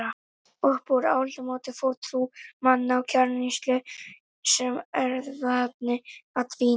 Upp úr aldamótunum fór trú manna á kjarnsýru sem erfðaefni að dvína.